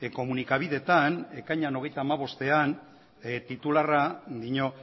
komunikabideetan ekainaren hogeita bostean titularrak dio